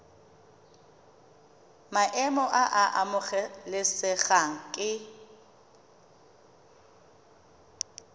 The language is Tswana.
maemo a a amogelesegang ke